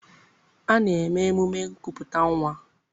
A na-eme emume nkupụta nnwa.